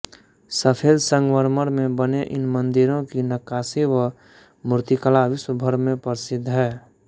सफ़ेद संगमरमर में बने इन मंदिरों की नक़्क़ाशी व मूर्तिकला विश्वभर में प्रसिद्ध है